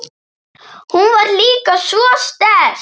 Hún var líka svo sterk.